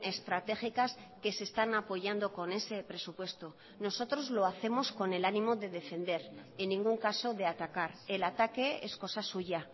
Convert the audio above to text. estratégicas que se están apoyando con ese presupuesto nosotros lo hacemos con el ánimo de defender en ningún caso de atacar el ataque es cosa suya